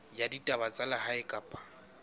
ya ditaba tsa lehae kapa